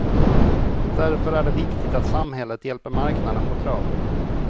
Därför är det viktigt att samhället hjälper marknaden på traven.